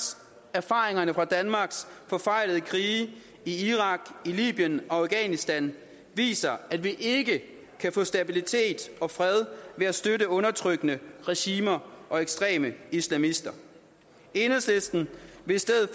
erfaringerne fra danmarks forfejlede krige i irak libyen og afghanistan viser at vi ikke kan få stabilitet og fred ved at støtte undertrykkende regimer og ekstreme islamister enhedslisten vil i stedet